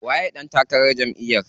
Waye ɗan takarar jamʼiyar?